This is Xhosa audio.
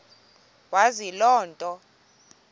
wazi loo nto